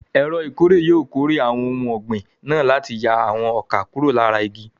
Ẹ̀rọ ìkórè yóò kórè àwọn ohun ọ̀gbìn náà láti yà àwọn ọkà kúrò lára igi.